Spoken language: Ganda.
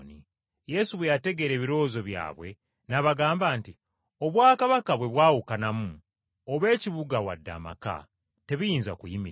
Yesu bwe yategeera ebirowoozo byabwe n’abagamba nti, “Obwakabaka bwe bwawukanamu, oba ekibuga wadde amaka, tebiyinza kuyimirira.